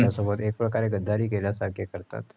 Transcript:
देशासोबत एकप्रकारे गद्दारी केल्यासारखे करतात.